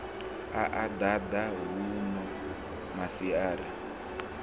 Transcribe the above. a a ḓaḓa huno maswina